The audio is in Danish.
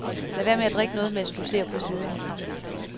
Lad være med at drikke noget, mens du ser på siden.